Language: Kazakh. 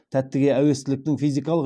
тәттіге әуестіліктің физикалық